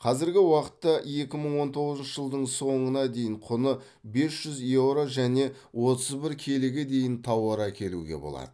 қазіргі уақытта екі мың он тоғызыншы жылдың соңына дейін құны бес жүз еуро және отыз бір келіге дейін тауар әкелуге болады